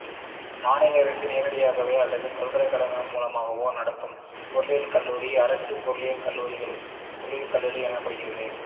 மாநில அரசு நேரடியாகவோ அல்லது பல்கலைக்கழகங்கள் மூலமாகவோ நடத்தும் பொறியியல் கல்லூரிகள் அரசு பொறியியல் கல்லூரிகள் எனப்படுகிறது